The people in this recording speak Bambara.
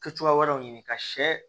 Kɛ cogoya wɛrɛw ɲini ka shɛ